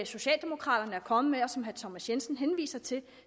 socialdemokraterne er kommet med og som herre thomas jensen henviser til